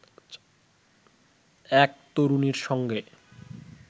এক তরুণীর সঙ্গে